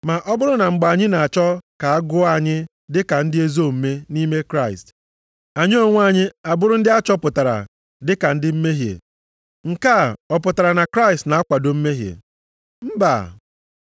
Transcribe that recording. Ma ọ bụrụ, na mgbe anyị na-achọ ka a gụọ anyị dị ka ndị ezi omume nʼime Kraịst, anyị onwe anyị a bụrụ ndị achọpụtara dịka ndị mmehie. Nke a, ọ pụtara na Kraịst na-akwado mmehie? Mba!